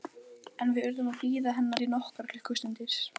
Einari Sigurðssyni útgerðarmanni, Þórarni Guðmundssyni fiðluleikara